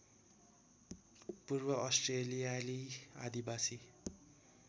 पूर्व अस्ट्रेलियाली आदिवासी